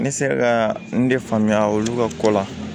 Ne sera ka n de faamuya olu ka ko la